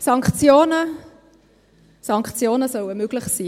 Sanktionen sollen möglich sein.